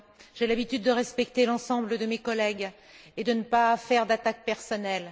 J'ai l'habitude de respecter l'ensemble de mes collègues et de ne pas faire d'attaque personnelle.